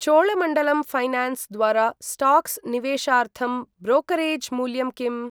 Cholamandalam finance द्वारा stocks निवेशार्थं brokerage मूल्यं किम्?